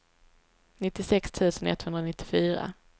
nittiosex tusen etthundranittiofyra